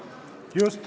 Just.